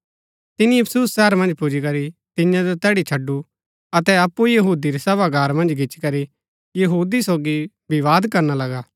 तिनी इफिसुस शहर पुजीकरी तियां जो तैड़ी छडु अतै अप्पु यहूदी रै सभागार मन्ज गिचीकरी यहूदी सोगी विवाद करणा लगा